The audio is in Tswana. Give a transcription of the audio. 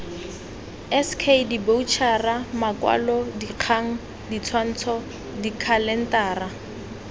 sk diboroutšhara makwalodikgang ditshwantsho dikhalentara